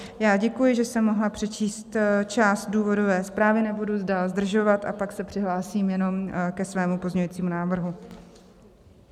Já děkuji, že jsem mohla přečíst část důvodové zprávy, nebudu dál zdržovat a pak se přihlásím jenom ke svému pozměňujícímu návrhu.